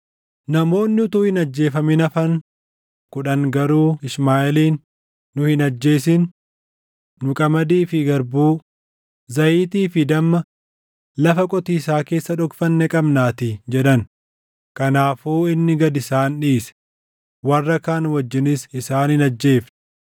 Namoonni utuu hin ajjeefamin hafan kudhan garuu Ishmaaʼeeliin, “Nu hin ajjeesin! Nu qamadii fi garbuu, zayitii fi damma lafa qotiisaa keessa dhokfanne qabnaatii” jedhan. Kanaafuu inni gad isaan dhiise; warra kaan wajjinis isaan hin ajjeefne.